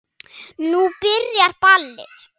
Nú byrjaði ballið.